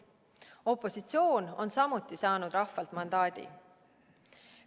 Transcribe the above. Opositsioon on samuti saanud rahvalt mandaadi.